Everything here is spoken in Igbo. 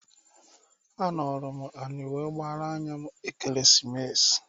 Anọlụ m anị were gbaara anya m Ekeresimesi.